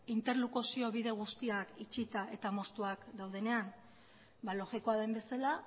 interlokuzio bide guztiak itxita eta moztuak daudenean ba logikoa den bezala